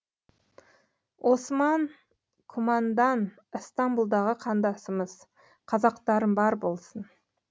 осман кумандан ыстамбұлдағы қандасымыз қазақтарым бар болсын